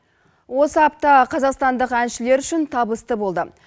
осы апта қазақстандық әншілер үшін табысты болды